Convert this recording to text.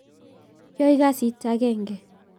Yoe kasit agenge